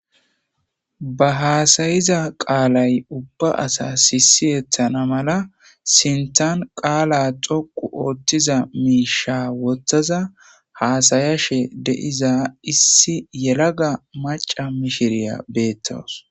ba haasayiza qaalay ubba asa sisiyettana mala sintan qaala xoqu ooththiza miisha wottaza haasayashe de7iza issi yelaga maca mishiriya beettowus